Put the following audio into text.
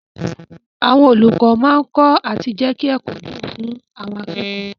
Àwọn olùkọ́ máa kọ́ àti jẹ́kí ẹ̀kọ́ dùn fún àwọn akẹ́kọ̀ọ́.